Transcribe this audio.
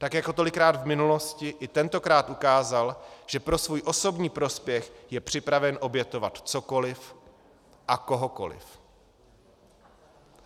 Tak jako tolikrát v minulosti, i tentokrát ukázal, že pro svůj osobní prospěch je připraven obětovat cokoliv a kohokoliv.